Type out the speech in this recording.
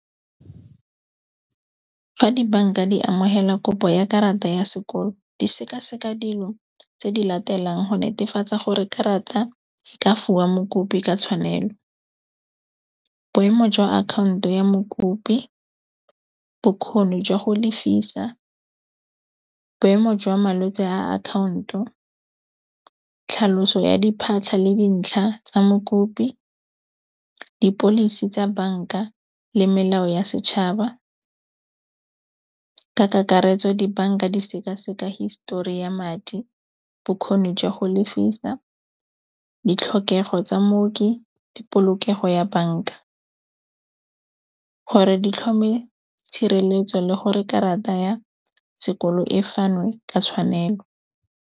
Fa dibanka di amogela kopo ya karata ya sekolo di sekaseka dilo tse di latelang go netefatsa gore karata e ka mokopi ka tshwanelo. Boemo jwa account-o ya mokopi, bokgoni jwa go lefisa, boemo jwa malwetse a account-o, tlhaloso ya diphatlha le dintlha tsa mokopi, di-policy tsa banka le melao ya setšhaba ka kakaretso. Dibanka di seka-seka hisetori ya madi, bokgoni jwa go lefisa, ditlhokego tsa mooki, le polokego ya banka. Gore di tlhome tshireletso le gore karata ya sekolo e fanwe ka tshwanelo.